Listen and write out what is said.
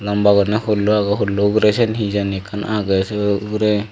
lamba gurinei pullo agey pullo ugure sen hijani ekkan agey se ugure.